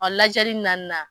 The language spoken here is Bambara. Ɔ ladiyali naaninan.